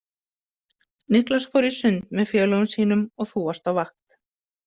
Niklas fór í sund með félögum sínum og þú varst á vakt.